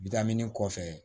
Bitamini kɔfɛ